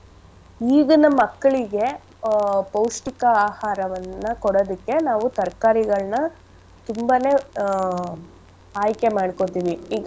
ಈಗಿನ ಮಕ್ಳಿಗೆ ಆಹ್ ಪೌಷ್ಟಿಕ ಆಹಾರವನ್ನ ಕೊಡದಿಕ್ಕೆ ನಾವು ತರ್ಕಾರಿಗಳ್ನಾ ತುಂಬಾನೇ ಆಹ್ ಆಯ್ಕೆ ಮಾಡ್ಕೊತಿವಿ ಈಗ.